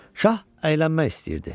Şah əylənmək istəyirdi.